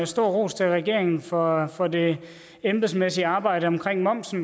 stor ros til regeringen for for det embedsmæssige arbejde omkring momsen